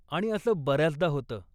आणि असं बऱ्याचदा होतं.